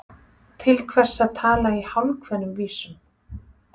Til hvers að tala í hálfkveðnum vísum?